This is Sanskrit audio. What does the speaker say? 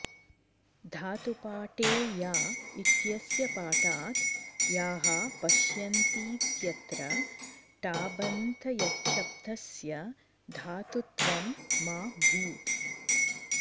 धातुपाठे या इत्यस्य पाठात् याः पश्यन्तीत्यत्र टाबन्तयच्छब्दस्य धातुत्वं मा भूत्